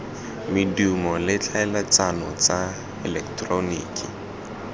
medumo le tlhaeletsano tsa eleketeroniki